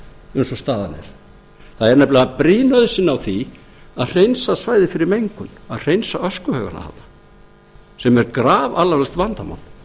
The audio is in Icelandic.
staðan er það er nefnilega brýn nauðsyn á því að hreinsa svæðið fyrir mengun að hreinsa öskuhaugana þarna sem er grafalvarlegt vandamál